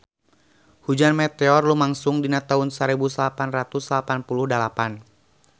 Hujan meteor lumangsung dina taun sarebu salapan ratus salapan puluh dalapan